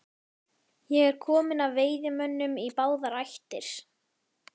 Ég er kominn af veiðimönnum í báðar ættir.